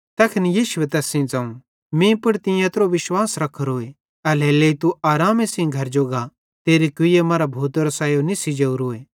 तैखन यीशुए तैस सेइं ज़ोवं मीं पुड़ तीं एत्रो विश्वास रख्खोरोए एल्हेरेलेइ तू आरामे सेइं घरे जो गा तेरी कुईए मरां भूतेरो सायो निस्सी जोरोए